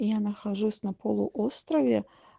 я нахожусь на полуострове